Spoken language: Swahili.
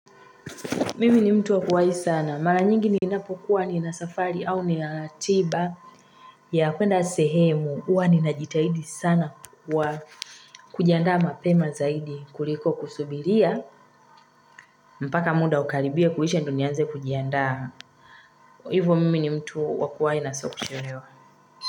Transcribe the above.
Mimi ni mtu wa kuwai sana. Mara nyingi ninapokuwa nina safari au nina tiba ya kuenda sehemu. Huwa ninajitahidi sana kwa kujiandaa mapema zaidi. Kuliko kusubiria. Mpaka muda ukaribie kuisha ndo nianze kujiandaa. Hivo mimi ni mtu wa kuwai na sio kuchelewa.